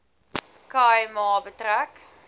khai ma betrek